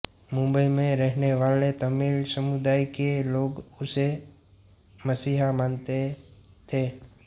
मुंबई में रहने वाले तमिल समुदाय के लोग उसे मसीहा मानते थे